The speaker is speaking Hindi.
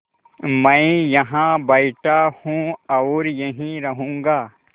मैं यहाँ बैठा हूँ और यहीं रहूँगा